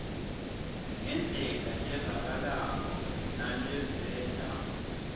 ngendlela levakalako naleveta